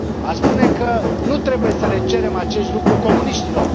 Aș spune că nu trebuie să le cerem acest lucru comuniștilor.